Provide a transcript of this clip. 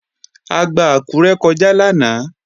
A gba Àkúré kọjá lánàá